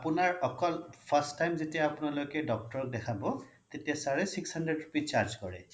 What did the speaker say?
আপোনাৰ অকল first time যেতিয়া আপোনালোকে doctor ক দেখাব তেতিয়া sir য়ে six hundred rupees charge কৰে